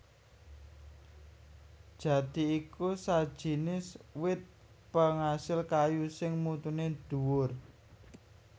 Jati iku sajinis wit pengasil kayu sing mutuné dhuwur